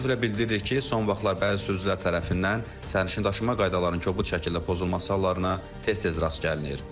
Təəssüflə bildiririk ki, son vaxtlar bəzi sürücülər tərəfindən sərnişindaşıma qaydalarının kobud şəkildə pozulması hallarına tez-tez rast gəlinir.